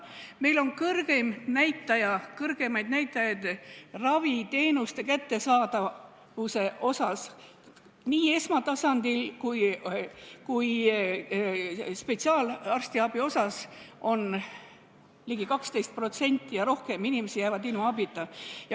Meil on üks kõrgeimaid näitajaid raviteenuste kättesaadamatuse osas, nii esmatasandi kui ka spetsiaalarstiabi osas: ligi 12% ja rohkemgi inimesi jääb ilma abita.